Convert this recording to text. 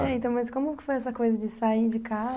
É, então, mas como que foi essa coisa de sair de